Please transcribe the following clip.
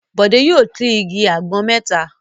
Bọ̀dé yóò tlrs igi àgbọn mẹ́ta!